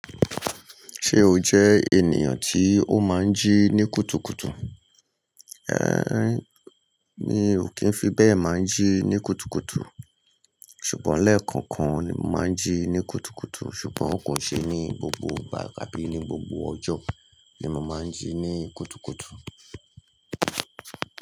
Ṣé o jẹ ènìyàn tí ó máa ń jí ní kùtùkùtù? Mi ò kí ń fi bẹ́ẹ̀ máa ń jí ní kùtùkùtù. Ṣùgbọ́n lẹ́ẹ̀kọ̀ọ̀kan ni mo máa ń jí ní kùtùkùtù, ṣùgbọ́n kò ṣe ní gbogbo ìgbà tàbí ní gbogbo ọjọ́ ni mo máa ń jí ní kùtùkùtù.